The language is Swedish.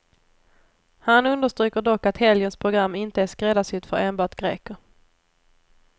Han understryker dock att helgens program inte är skräddarsytt för enbart greker.